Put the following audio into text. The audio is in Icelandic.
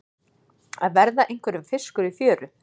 Að verða einhverjum fiskur í fjöru